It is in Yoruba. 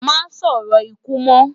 Má sòrò ikú mò